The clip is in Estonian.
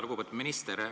Lugupeetud minister!